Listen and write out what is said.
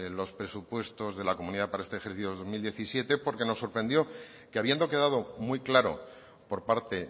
los presupuestos de la comunidad para este ejercicio dos mil diecisiete porque nos sorprendió que habiendo quedado muy claro por parte